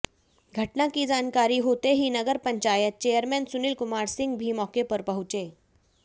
घटना की जानकारी होते ही नगर पंचायत चेयरमैन सुनील कुमार सिंह भी मौके पर पहुंचे